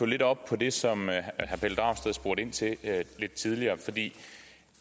lidt op på det som herre pelle dragsted spurgte ind til lidt tidligere